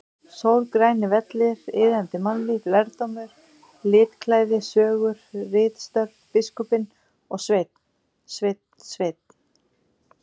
Sól, grænir vellir, iðandi mannlíf, lærdómur, litklæði, sögur, ritstörf, biskupinn og Sveinn, Sveinn, Sveinn!!!